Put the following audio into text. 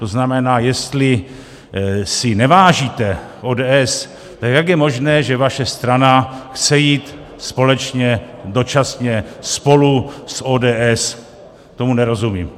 To znamená, jestli si nevážíte ODS, tak jak je možné, že vaše strana chce jít společně dočasně spolu s ODS, tomu nerozumím.